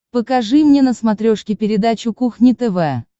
покажи мне на смотрешке передачу кухня тв